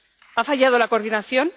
¿Ha fallado la coordinación?